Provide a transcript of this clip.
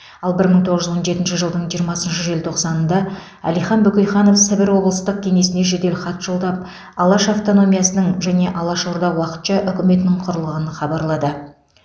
ал бір мың тоғыз жүз он жетінші жылдың жиырмасыншы желтоқсанында әлихан бөкейханов сібір облыстық кеңесіне жеделхат жолдап алаш автономиясының және алаш орда уақытша үкіметінің құрылғанын хабарлады